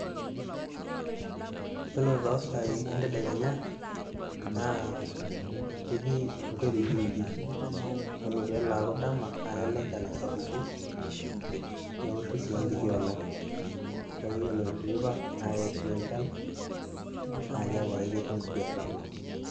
yiolo tosai entedekenya, na ketii onkurujiruji, ore pelo aku dama na kelo enchan asapuku, neoshu si enkiti olong',ore tenteipa na keishunye enchan, na kiaku si keti inkuti atambo,